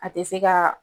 A tɛ se ka